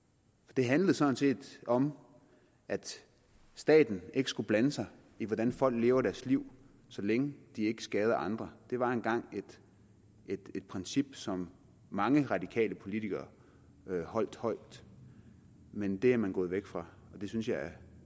det handlede sådan set om at staten ikke skulle blande sig i hvordan folk lever deres liv så længe de ikke skader andre det var engang et princip som mange radikale politikere holdt højt men det er man gået væk fra og det synes jeg er